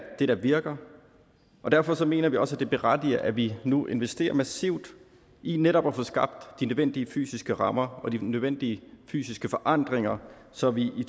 det der virker og derfor mener vi også at det berettiger at vi nu investerer massivt i netop at få skabt de nødvendige fysiske rammer og de nødvendige fysiske forandringer så vi i